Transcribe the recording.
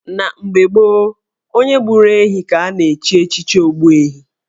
Na mgbe gboo, onye gburu ehi ka a na-echi echichi Ogbuehi